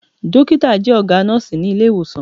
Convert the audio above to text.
Dọ́kítà jẹ́ ọ̀gá nọ́ọ̀sí ní Ilé-ìwòsàn.